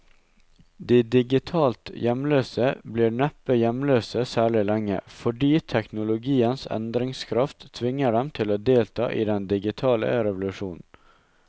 De digitalt hjemløse blir neppe hjemløse særlig lenge, fordi teknologiens endringskraft tvinger dem til å delta i den digitale revolusjonen.